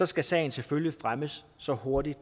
skal sagen selvfølgelig fremmes så hurtigt